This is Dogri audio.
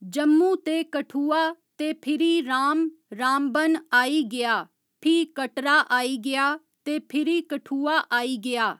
जम्मू ते कठुआ ते फिरी राम रामबन आई गेआ फ्ही कटरा आई गेआ ते फिरी कठुआ आई गेआ